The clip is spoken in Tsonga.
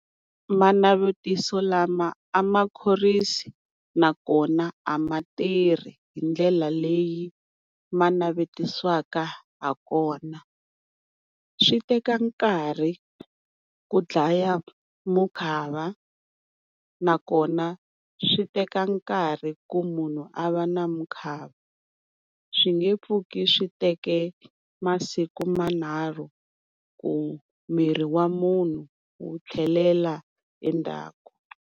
Manavetiso lama a ma khorwisi nakona a ma tirhi hi ndlela leyi ma navetisiwaka hakona. Swi teka nkarhi ku dlaya mukhava, nakona swi teka nkarhi ku munhu a va na mukhava swi nge pfuki swi teke masiku manharhu ku miri wa munhu wu tlhelela endzhaku.